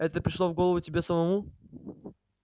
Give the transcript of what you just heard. это пришло в голову тебе самому